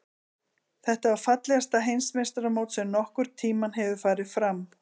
Þetta var fallegasta Heimsmeistaramót sem nokkurn tíma hefur farið fram.